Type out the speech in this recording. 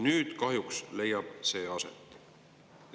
Nüüd kahjuks leiab see aset.